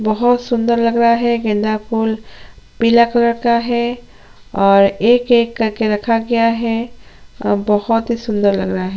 बहोत सुन्दर लग रहा है गेंदा फूल पीला कलर का है और एक एक कर के रखा गया है अ बहोत ही सुन्दर लग रहा है।